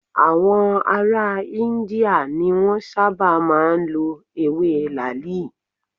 Àwọn ará India ni Wọ́n sábà máa ń lọ ewé làáàlì.